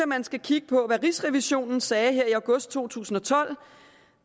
man skal kigge på hvad rigsrevisionen sagde her i august to tusind og tolv